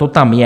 To tam je.